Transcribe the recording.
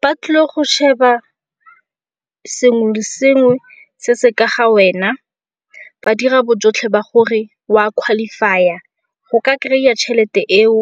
Ba tlile go sheba sengwe le sengwe se se ka ga wena ba dira bojotlhe ba gore wa qualify-a go ka kry-a tšhelete eo